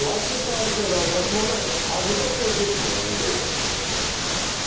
Lakin tarif və razılaşmanı hazırda prezident müəyyən edir.